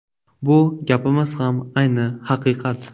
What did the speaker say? Bu gapimiz ham ayni haqiqat!